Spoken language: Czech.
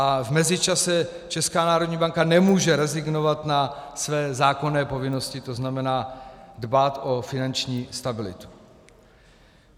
A v mezičase Česká národní banka nemůže rezignovat na své zákonné povinnosti, to znamená dbát o finanční stabilitu.